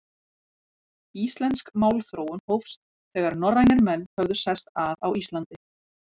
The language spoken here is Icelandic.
Íslensk málþróun hófst, þegar norrænir menn höfðu sest að á Íslandi.